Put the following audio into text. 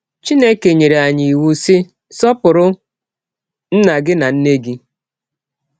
Chineke nyere anyị iwụ, sị: “ Sọpụrụ nna gị na nne gị. ”